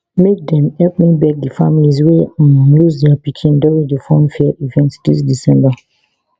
make dem help me beg di families wey um lose dia pikin during di funfair event dis december